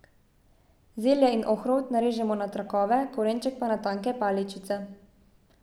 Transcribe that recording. Zelje in ohrovt narežemo na trakove, korenček pa na tanke paličice.